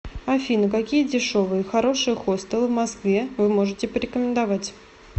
афина какие дешевые и хорошие хостелы в москве вы можете порекомендовать